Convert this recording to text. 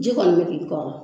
Ji kɔni bɛ k'i kɔrɔ